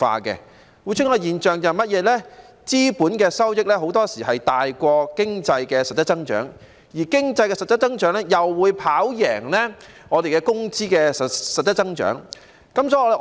就是資本收益很多時候大於經濟實質增長，而經濟實質增長又會跑贏工資實質增長。